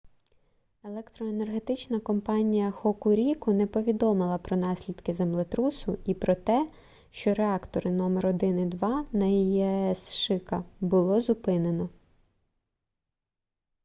електроенергетична компанія хокуріку не повідомила про наслідки землетрусу і про те що реактори № 1 і 2 на її аес шика було зупинено